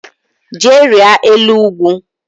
Jee rịa elu ugwu